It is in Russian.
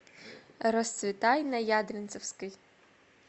расцветай на ядринцевской